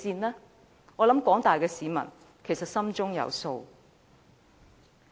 我相信廣大市民心中有數。